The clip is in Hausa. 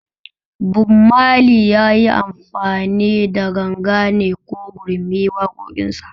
Bob Mali yayi amfani da ganga ne ko gurmi waƙoƙin sa?